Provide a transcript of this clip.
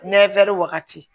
Nɛfɛrɛni wagati